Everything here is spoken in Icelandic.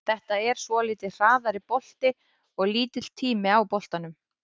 Þetta er svolítið hraðari bolti og lítill tími á boltanum.